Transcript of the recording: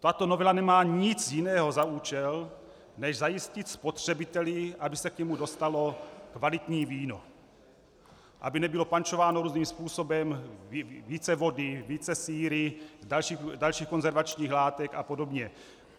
Tato novela nemá nic jiného za účel než zajistit spotřebiteli, aby se k němu dostalo kvalitní víno, aby nebylo pančováno různým způsobem, více vody, více síry, dalších konzervačních látek a podobně.